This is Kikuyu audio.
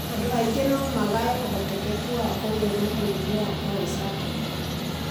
andũ angĩ no magaye ũhotekeku wa kũgĩa na mũrimũ wa kũhaica thakame